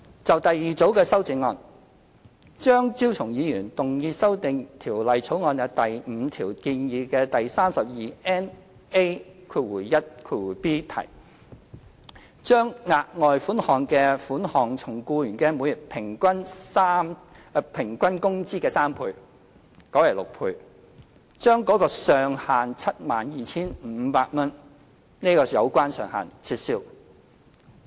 就第二組修正案，張超雄議員動議修訂《條例草案》第5條中建議的第 32NA1b 條，將額外款項的款額從僱員每月平均工資的3倍改為6倍，將 72,500 元的有關上限撤銷。